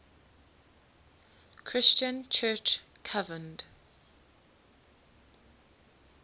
christian church convened